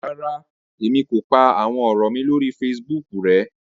Ràrá, Èmi kò pá àwọn òrò mí lórí Facebook rẹ